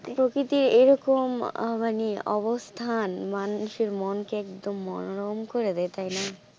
প্রকৃতি এই রকম আহ মানে অবস্থান মানুষের মন কে একদম মনোরম করে দেয় তাই না?